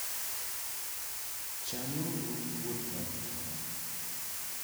Chanuru wuoth maru chon.